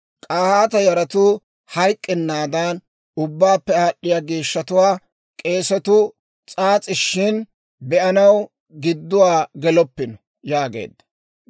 K'ahaata yaratuu hayk'k'ennaadan, ubbaappe aad'd'iyaa geeshshatuwaa k'eesatuu s'aas'ishin be'anaw gidduwaa geloppino» yaageedda.